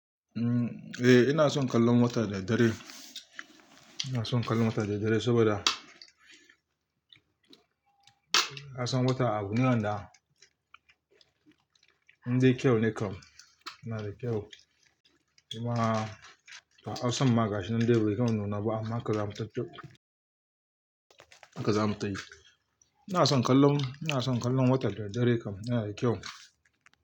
Eh ina son kallon wata da dare. Ina son kallon wata da dare saboda ka san wata abu ne wanda in dai kyau ne kam, yana da kyau. Jama'a hausan ma gashinan dai bai gama nuna ba amma haka zamu taf-taf, haka za mu tayi. Ina son kallon, ina son kallon wata da dadddare kam, yana da kyau.